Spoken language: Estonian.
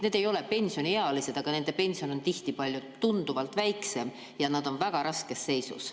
Nad ei ole pensioniealised, aga nende pension on tihti tunduvalt väiksem ja nad on väga raskes seisus.